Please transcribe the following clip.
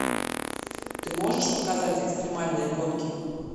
ты можешь показать экстримальные гонки